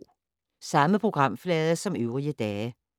Samme programflade som øvrige dage